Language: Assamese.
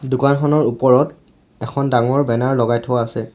দোকানখনৰ ওপৰত এখন ডাঙৰ বেনাৰ লগাই থোৱা আছে।